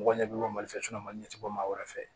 Mɔgɔ ɲɛ bɛ bɔ mali fɛ maliɲɛ tɛ bɔ maa wɛrɛ fɛ